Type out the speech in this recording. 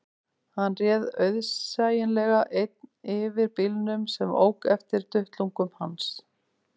Hann réð auðsæilega einn yfir bílnum sem ók eftir duttlungum hans